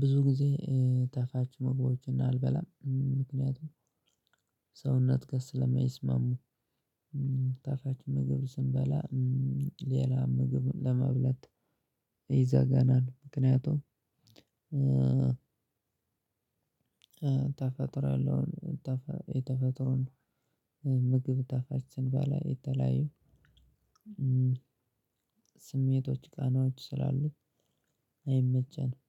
ብዙ ጊዜ ጣፋጭ መግቦችን አልበላም ምክንያቱም ሰውነት ጋር ስለማይስማሙ። ጣፋጭ ምግብ ስንበላ ሌላ ምግብም ለመብላት ይዘጋናል። ምክንያቱም ተፈጥሮ ያለውን የተፈጥሮን ምግብ ጣፋጭ ስንበላ የተለያዪ ስሜቶች ቃናዎች ስላሉ አይመቸንም